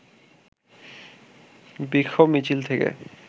বিক্ষোভ মিছিল থেকে